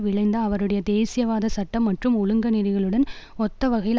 விழைந்த அவருடைய தேசியவாத சட்டம் மற்றும் ஒழுங்க நெறிகளுடன் ஒத்த வகையில்